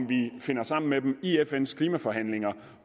vi finder sammen med dem i fns klimaforhandlinger